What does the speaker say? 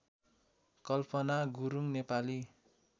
Kalpana Gurung Nepali